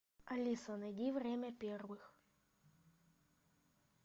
алиса найди время первых